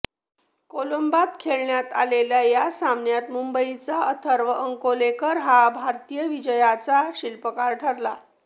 कोलंबोत खेळवण्यात आलेल्या या सामन्यात मुंबईचा अथर्व अंकोलेकर हा भारतीय विजयाचा शिल्पकार ठरला